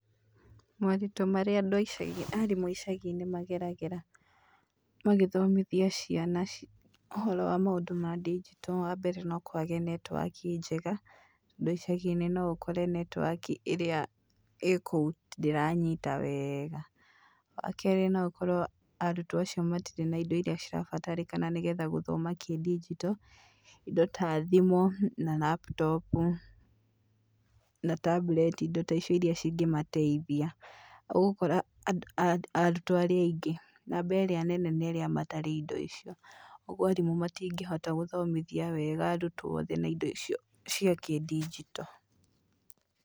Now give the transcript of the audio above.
Moritũ marĩa andũ a icagi, arimũ a icagi-inĩ mageragĩra magĩthomithia ciana ũhoro wa maũndũ ma digital ;wa mbere no kwage network njega, tondũ icagi-inĩ no ũkore network ĩrĩa ĩĩ kũu ndĩranyita wega. Wa kerĩ no ũkorwo arutwo acio matirĩ na indo iria cirabatarĩkana nĩ getha guthoma kĩ digital ;indo ta thimũ, na laptop, na tablet, indo ta icio iria cingĩmateithia. Ũgũkora arutwo arĩa aingĩ, namba ĩrĩa nene nĩ arĩa matari indo icio. Ũguo arimũ matingĩhota gũthomithia wega arutwo othe na indo icio cia kĩ digital.